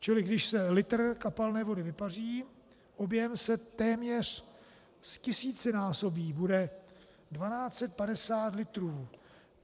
Čili když se litr kapalné vody vypaří, objem se téměř ztisícinásobí, bude 1 250 litrů.